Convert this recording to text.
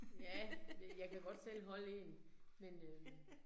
Ja, det jeg kan godt selv holde 1, men øh